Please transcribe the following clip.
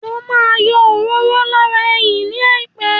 Mo ma yọ òróró lára ẹyìn ní àìpẹ́